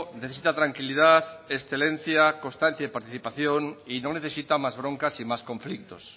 necesita tranquilidad excelencia constancia y participación y no necesita más broncas y más conflictos